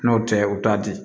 N'o tɛ u t'a di